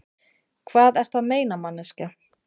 Hvað ertu að meina, manneskja?